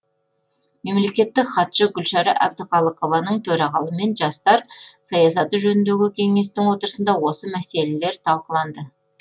мемлекеттік хатшы гүлшара әбдіқалықованың төрағалығымен жастар саясаты жөніндегі кеңестің отырысында осы мәселелер талқыланды